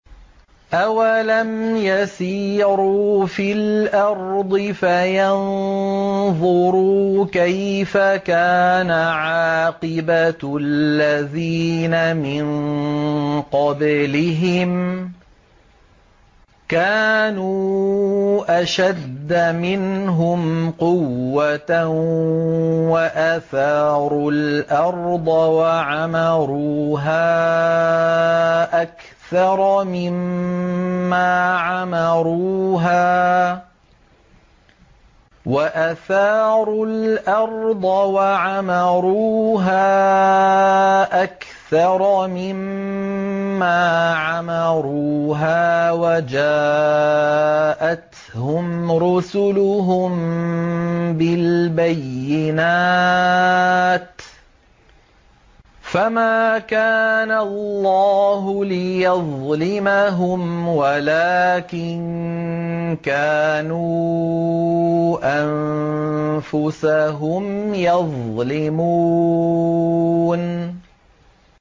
أَوَلَمْ يَسِيرُوا فِي الْأَرْضِ فَيَنظُرُوا كَيْفَ كَانَ عَاقِبَةُ الَّذِينَ مِن قَبْلِهِمْ ۚ كَانُوا أَشَدَّ مِنْهُمْ قُوَّةً وَأَثَارُوا الْأَرْضَ وَعَمَرُوهَا أَكْثَرَ مِمَّا عَمَرُوهَا وَجَاءَتْهُمْ رُسُلُهُم بِالْبَيِّنَاتِ ۖ فَمَا كَانَ اللَّهُ لِيَظْلِمَهُمْ وَلَٰكِن كَانُوا أَنفُسَهُمْ يَظْلِمُونَ